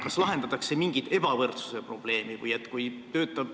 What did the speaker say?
Kas lahendatakse mingit ebavõrdsuse probleemi?